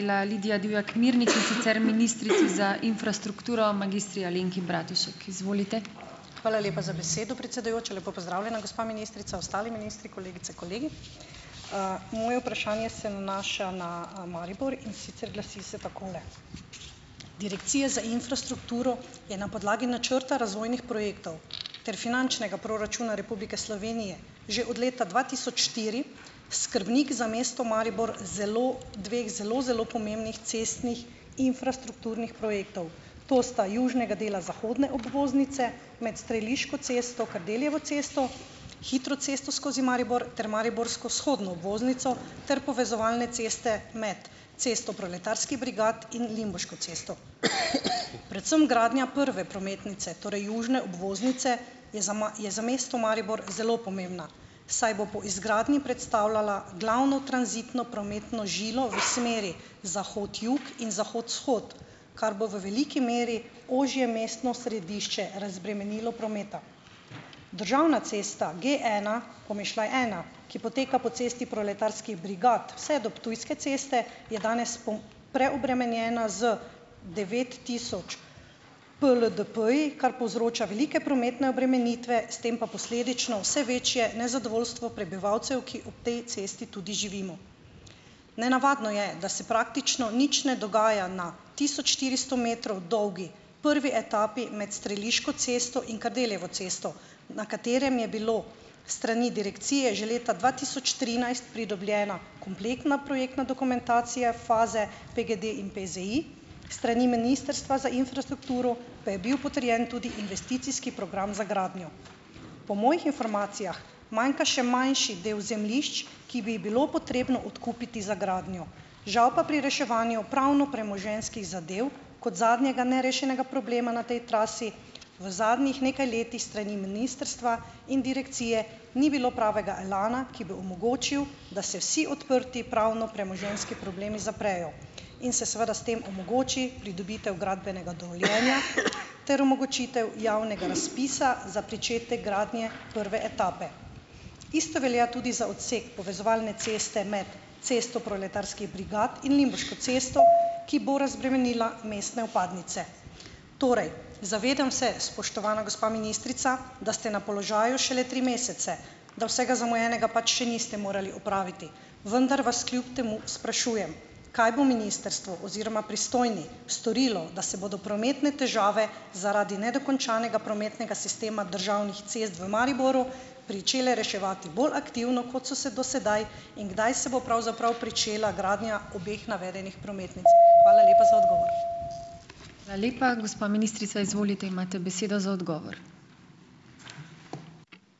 Hvala lepa za besedo, predsedujoča. Lepo pozdravljena, gospa ministrica, ostali ministri, kolegice, kolegi! Moje vprašanje se nanaša na, Maribor in sicer glasi se takole. Direkcija za infrastrukturo je na podlagi načrta razvojnih projektov ter finančnega proračuna Republike Slovenije že od leta dva tisoč štiri skrbnik za mesto Maribor, zelo dveh zelo zelo pomembnih cestnih infrastrukturnih projektov, to sta južnega dela zahodne obvoznice med Streliško cesto - Kardeljevo cesto, hitro cesto skozi Maribor ter mariborsko vzhodno obvoznico ter povezovalne ceste med cesto Proletarskih brigad in Limbuško cesto. Predvsem gradnja prve prometnice, torej južne obvoznice je za je za mesto Maribor zelo pomembna, saj bo po izgradnji predstavljala glavno tranzitno prometno žilo v smeri zahod-jug in zahod-vzhod, kar bo v veliki meri ožje mestno središče razbremenilo prometa. Državna cesta J ena pomišljaj ena, ki poteka po cesti Proletarskih brigad vse do Ptujske ceste, je danes preobremenjena z devet tisoč PLDP-ji, kar povzroča velike prometne obremenitve, s tem pa posledično vse večje nezadovoljstvo prebivalcev, ki ob tej cesti tudi živimo. Nenavadno je, da se praktično nič ne dogaja na tisoč štiristo metrov dolgi prvi etapi med Streliško cesto in Kardeljevo cesto, na kateri je bilo s strani direkcije že leta dva tisoč trinajst pridobljena kompletna projektna dokumentacija faze PGD in PZI, s strani ministrstva za infrastrukturo pa je bil potrjen tudi investicijski program za gradnjo. Po mojih informacijah manjka še manjši del zemljišč, ki bi jih bilo potrebno odkupiti za gradnjo, žal pa pri reševanju pravno-premoženjskih zadev kot zadnjega nerešenega problema na tej trasi v zadnjih nekaj letih s strani ministrstva in direkcije ni bilo pravega elana, ki bi omogočil, da se vsi odprti pravno-premoženjski problemi zaprejo in se seveda s tem omogoči pridobitev gradbenega dovoljenja ter omogočitev javnega razpisa za pričetek gradnje prve etape. Isto velja tudi za odsek povezovalne ceste med Cesto proletarskih brigad in Limbuško cesto, ki bo razbremenila mestne vpadnice. Torej, zavedam se, spoštovana gospa ministrica, da ste na položaju šele tri mesece, da vsega zamujenega pač še niste morali opraviti, vendar vas kljub temu sprašujem: Kaj bo ministrstvo oziroma pristojni storilo, da se bodo prometne težave zaradi nedokončanega prometnega sistema državnih cest v Mariboru pričele reševati bolj aktivno, kot so se do sedaj? In kdaj se bo pravzaprav pričela gradnja obeh navedenih prometnic? Hvala lepa za odgovor.